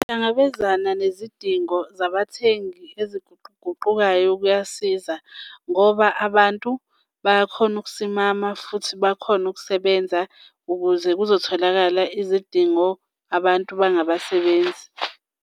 Uhlangabezana nezidingo zabathengi eziguquguqukayo kuyasiza ngoba abantu bayakhona ukusimama futhi bakhone ukusebenza ukuze kuzotholakala izidingo abantu bangabasebenzi.